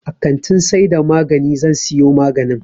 A kantin saida magani zan siyo maganin